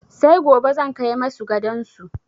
Sai gobe zan kai masu gadon su.